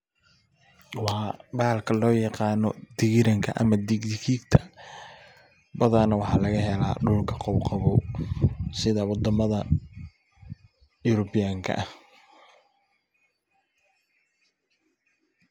Waa bahalka loo yaqaano dhigiiranka ama dhigigiidhka badhana waxa lagahela wadhamadha European